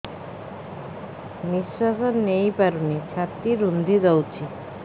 ନିଶ୍ୱାସ ନେଇପାରୁନି ଛାତି ରୁନ୍ଧି ଦଉଛି